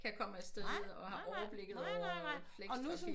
Kan komme afsted og har overblikket over flextrafik